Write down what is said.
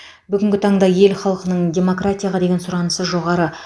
бүгінгі таңда ел халқының демократияға деген сұранысы жоғары